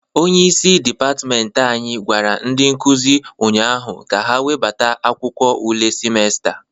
Onyeisi dịpatment anyị gwara ndị nkụzị ụnyaahụ ka ha webata akwụkwọ ule simesta a.